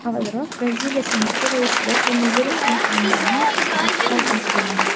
Avvalroq Braziliya senati raisida koronavirus aniqlangani haqida xabar berilgandi .